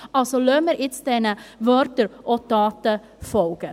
Lassen wir diesen Worten also auch Taten folgen.